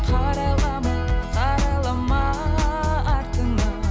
қарайлама қарайлама артыңа